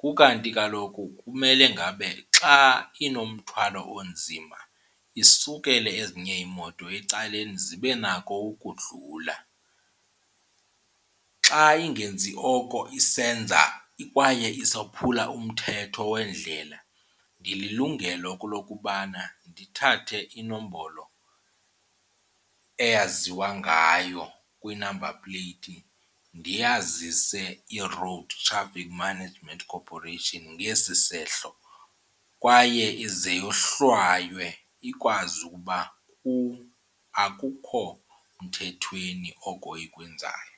Kukanti kaloku kumele ngabe xa inomthwalo onzima isukele ezinye iimoto ecaleni zibe nako ukudlula. Xa ingenzi oko isenza kwaye isophula umthetho wendlela ndililungelo lokubana ndithathe inombolo eyaziwa ngayo kwinamba pleyiti ndiyazise iRoad Traffic Management Corporation ngesi sehlo kwaye ize yohlwaywe ikwazi ukuba akukho mthethweni oko ikwenzayo.